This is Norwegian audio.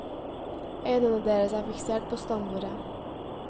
Øynene deres er fiksert på stambordet.